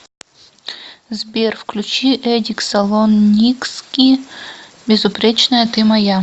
сбер включи эдик салоникски безупречная ты моя